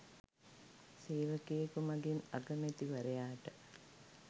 සේවකයෙකු මගින් අගමැතිවරයාට